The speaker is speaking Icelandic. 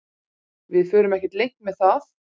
Við förum ekkert leynt með það